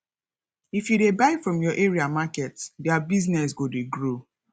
if you dey buy from your area market their business go dey grow